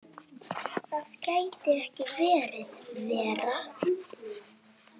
Það gæti ekki verið verra.